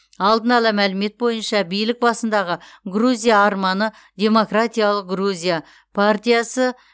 алдын ала мәлімет бойынша билік басындағы грузия арманы демократиялық грузия партиясы